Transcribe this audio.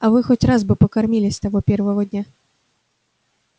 а вы хоть бы раз покормили с того первого дня